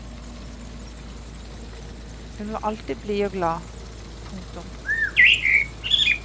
Hun var alltid blid og glad. punktum